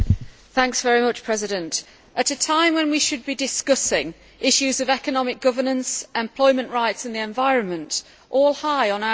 Madam President, this is a time when we should be discussing issues of economic governance, employment rights and the environment, all high on our agenda